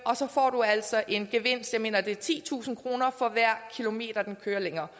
altså en gevinst på jeg mener det er titusind kroner for hver kilometer den kører længere